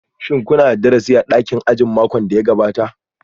Shin kuna da darasi a dakin ajin makon da ya gabata?